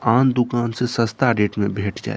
आन दुकान से सस्ता रेट में भेट जात।